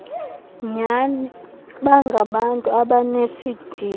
nyani bangabantu abanesidima